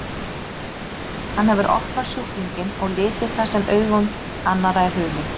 Hann hefur opnað sjúklinginn og litið það sem augum annarra er hulið.